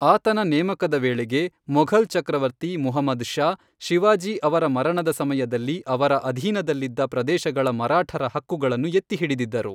ಆತನ ನೇಮಕದ ವೇಳೆಗೆ, ಮೊಘಲ್ ಚಕ್ರವರ್ತಿ ಮುಹಮ್ಮದ್ ಷಾ, ಶಿವಾಜಿ ಅವರ ಮರಣದ ಸಮಯದಲ್ಲಿ ಅವರ ಅಧೀನದಲ್ಲಿದ್ದ ಪ್ರದೇಶಗಳ ಮರಾಠರ ಹಕ್ಕುಗಳನ್ನು ಎತ್ತಿಹಿಡಿದಿದ್ದರು.